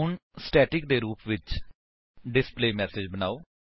ਹੁਣ ਸਟੈਟਿਕ ਦੇ ਰੁਪ ਵਿੱਚ ਡਿਸਪਲੇਮੈਸੇਜ ਬਨਾਓ